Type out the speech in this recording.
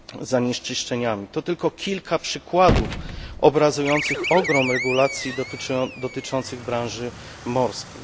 zanieczyszczeniami to tylko kilka przykładów obrazujących ogrom regulacji dotyczących branży morskiej.